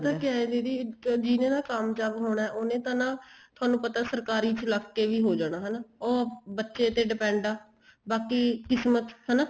ਪਤਾ ਕਿਹਾ ਹੈ ਦੀਦੀ ਜਿਹਨੇ ਤਾਂ ਕਾਮਯਾਬ ਹੋਣਾ ਉਹਨੇ ਤਾਂ ਨਾ ਤੁਹਾਨੂੰ ਪਤਾ ਸਰਕਾਰੀ ਚ ਲੱਗ ਗਏ ਵੀ ਹੋ ਜਾਣਾ ਹਨਾ ਉਹ ਬੱਚੇ ਤੇ depend ਆ ਬਾਕੀ ਕਿਸਮਤ ਹਨਾ